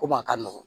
Komi a ka nɔgɔn